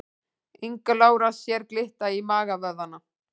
Inga Lára sér glitta í magavöðvana